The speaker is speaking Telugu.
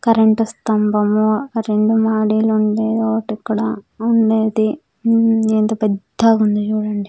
కరెంటు స్థంబము రెండు వుండేదోటిక్కడ ఉండేడి ఇమ్ ఎంత పెద్దగుంది చూడండి--